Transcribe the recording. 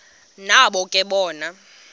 nabo ke bona